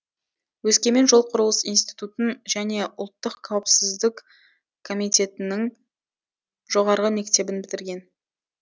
өскемен жол құрылыс институтын және ұлттық қауіпсіздік комитетінің жоғарғы мектебін бітірген